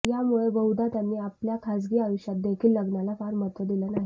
यामुळेच बहुदा त्यांनी आपल्या खाजगी आयुष्यात देखील लग्नाला फार महत्व दिलं नाही